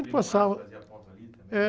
quando passava.) fazia ali também?